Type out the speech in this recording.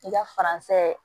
I ka faransɛ